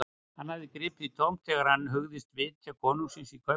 Hann hafði gripið í tómt þegar hann hugðist vitja konungs í Kaupmannahöfn.